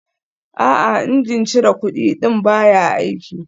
A'a, injin cire kudi ɗin baya aiki